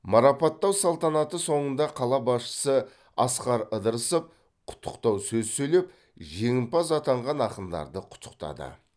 марапаттау салтанаты соңында қала басшысы асқар ыдырысов құттықтау сөз сөйлеп жеңімпаз атанған ақындарды құттықтады